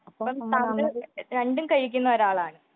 അപ്പോൾ താങ്കൾ രണ്ടും കഴിക്കുന്ന ഒരാളാണ്